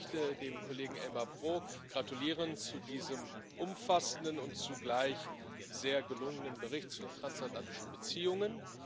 Auch ich möchte dem Kollegen Elmar Brok gratulieren zu diesem umfassenden und zugleich sehr gelungenen Bericht zu den transatlantischen Beziehungen.